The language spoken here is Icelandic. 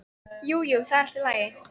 Jú, jú, það var allt í lagi.